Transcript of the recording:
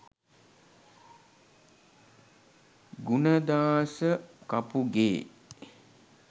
gunadasa kapuge